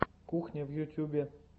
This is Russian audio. кухня в ютубе